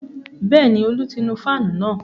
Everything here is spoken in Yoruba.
Bẹ́ẹ̀ni, Ọlá ti nu fáànù náà